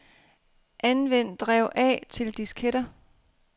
Anvend drev A til disketter.